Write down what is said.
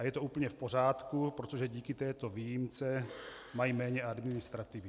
A je to úplně v pořádku, protože díky této výjimce mají méně administrativy.